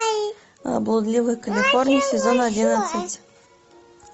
блудливая калифорния сезон одиннадцать